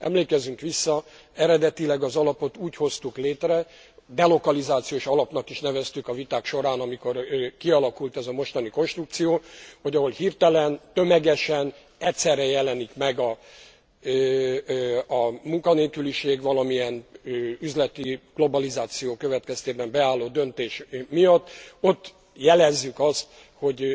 Emlékezzünk vissza eredetileg az alapot úgy hoztuk létre delokalizációs alapnak is neveztük a viták során, amikor kialakult ez a mostani konstrukció hogy ahol hirtelen, tömegesen, egyszerre jelenik meg a munkanélküliség valamilyen üzleti globalizáció következtében beállott döntés miatt, ott jelezzük azt, hogy